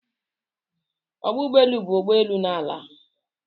Ọgbọ ụgbọelu bụ ebe ụgbọ elu n'ada.